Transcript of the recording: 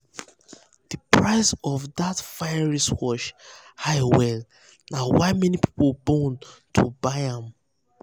the price of that fine wristwatch high well na why um many people bone to buy am.